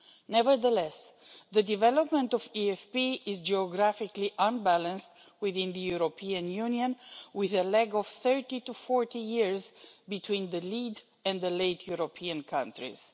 Nevertheless, the development of EFP is geographically unbalanced within the European Union with a lag of 30 to 40 years between the lead and the late European countries.